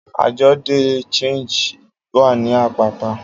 Ajọ de Change wa ni apapa.